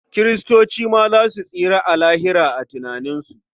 Kiristoci ma za su tsira a Lahira a tunaninsu.